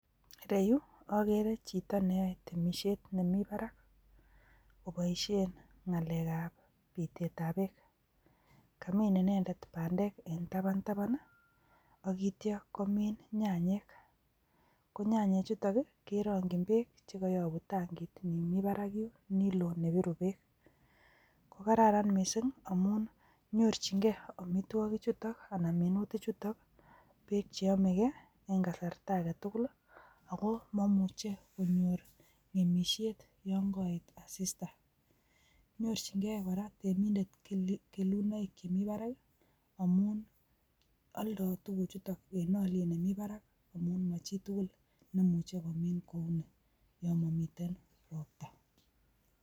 Ireyuu okere chito neyoe temishet nemii barak koboishen nagalek a pitet ab beek, kamin ninendet pandek en tapantapan nii ak ityo komii nayanyik ko nyanyik chutok keronkin beek chekoyobu tanki nimii batrak yuun ni loo nebiruu beek. ko kararan missing amun nyorchin gee omitwoki chutok anan minutik chutok beek cheyome gee en kasart agetukul lii ako momuche konyor ngemishet yon koet asiata, nyorchin gee koraa temindet kelunoik chemii barak ki amun oldo tukuk chutok en oliet nemii barak amun amun mo chitukuk neimuche komii kouni yon momiten ropta.